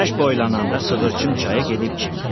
Günəş boylananda sığırçın çaya gedib çimdi.